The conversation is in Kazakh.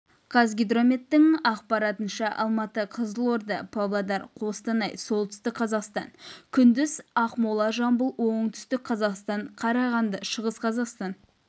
қазгидрометтің ақпаратынша алматы қызылорда павлодар қостанай солтүстік қазақстан күндіз ақмола жамбыл оңтүстік қазақстан қарағанды шығыс қазақстан